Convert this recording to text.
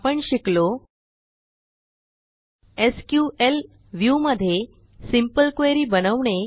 आपण शिकलो SQL view मध्ये सिंपल क्वेरी बनवणे